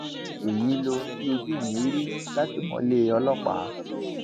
èyí lohun tí ojú mi rí látìmọlé ọlọpàá